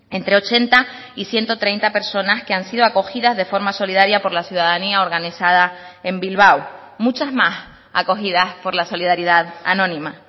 entre ochenta y ciento treinta personas que han sido acogidas de forma solidaria por la ciudadanía organizada en bilbao muchas más acogidas por la solidaridad anónima